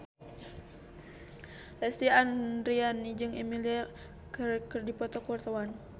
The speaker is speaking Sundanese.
Lesti Andryani jeung Emilia Clarke keur dipoto ku wartawan